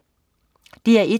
DR1: